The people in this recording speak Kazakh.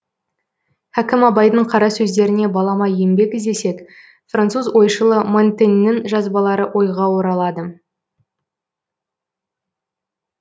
хакім абайдың қара сөздеріне балама еңбек іздесек француз ойшылы монтеньнің жазбалары ойға оралады